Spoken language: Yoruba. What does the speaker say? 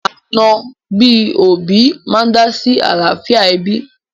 Ànọ́ bí òbí máa ń dá sí àlàáfíà ẹbí